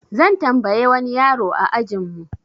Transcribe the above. Zan tambaye wani yaro a ajin mu.